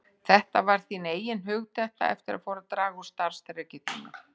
Þetta var þín eigin hugdetta eftir að fór að draga úr starfsþreki þínu.